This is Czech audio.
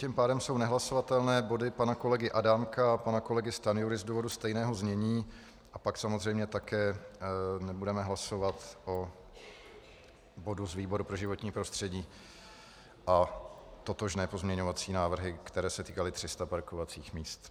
Tím pádem jsou nehlasovatelné body pana kolegy Adámka a pana kolegy Stanjury z důvodu stejného znění a pak samozřejmě také nebudeme hlasovat o bodu z výboru pro životní prostředí a totožné pozměňovací návrhy, které se týkaly 300 parkovacích míst.